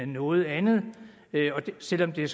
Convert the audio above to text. noget andet selv om det